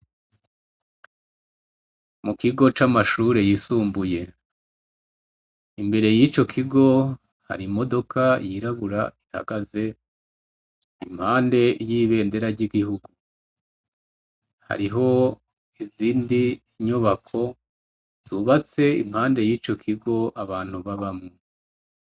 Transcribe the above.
Mu kigo c'amashure yisumbuye, imbere y'ico kigo hari imodoka yirabura ihagaze impande y'ibendera ry'igihugu, hariho izindi nyobako zubatse impande y'ico kigo abantu babamwo.